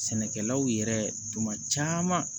Sɛnɛkɛlaw yɛrɛ tuma caman